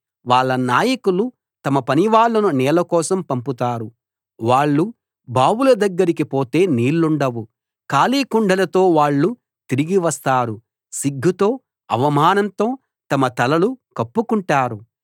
వాళ్ళ నాయకులు తమ పనివాళ్ళను నీళ్ల కోసం పంపుతారు వాళ్ళు బావుల దగ్గరికి పోతే నీళ్లుండవు ఖాళీ కుండలతో వాళ్ళు తిరిగి వస్తారు సిగ్గుతో అవమానంతో తమ తలలు కప్పుకుంటారు